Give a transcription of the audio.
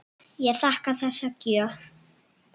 Ég þakka þessa gjöf.